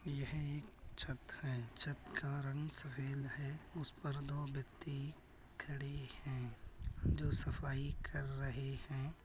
यह एक छत है। छत का रंग सफ़ेद है। उस पर दो व्यक्ति खड़े हैं। जो सफाई कर रहे हैं।